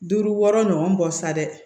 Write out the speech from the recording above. Duuru wɔɔrɔ ɲɔgɔn bɔ sa dɛ